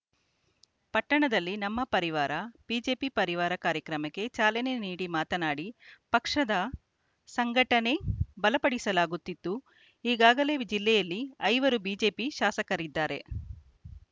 ಪಟ್ಟಣದಲ್ಲಿ ನಮ್ಮ ಪರಿವಾರ ಬಿಜೆಪಿ ಪರಿವಾರ ಕಾರ್ಯಕ್ರಮಕ್ಕೆ ಚಾಲನೆ ನೀಡಿ ಮಾತನಾಡಿ ಪಕ್ಷದ ಸಂಘಟನೆ ಬಲಪಡಿಸಲಾಗುತ್ತಿದ್ದು ಈಗಾಗಲೇ ವಿ ಜಿಲ್ಲೆಯಲ್ಲಿ ಐವರು ಬಿಜೆಪಿ ಶಾಸಕರಿದ್ದಾರೆ